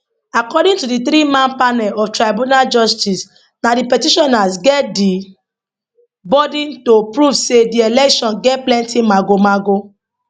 according to di threeman panel of tribunal justices na di petitioners get di burden to prove say di election get plenty magomago